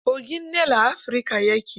Kogin Nil a Afrika ya ke.